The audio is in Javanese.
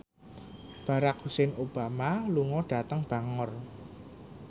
Barack Hussein Obama lunga dhateng Bangor